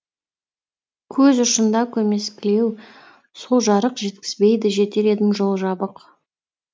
көз ұшында көмескілеу сол жарық жеткізбейді жетер едім жол жабық